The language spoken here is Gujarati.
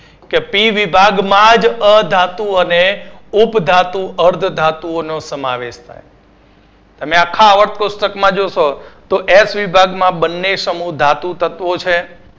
કે P વિભાગમાં જ અધાતુ અને ઉપધાતુ અર્ધધાતુઓનો સમાવેશ થાય છે અને આખા અવક કોષ્ટકમાં જોશો તો એફ વિભાગમાં બંને સમુહ ધાતુ તત્વો છે